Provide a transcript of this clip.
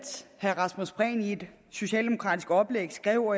herre rasmus prehn i et socialdemokratisk oplæg skrev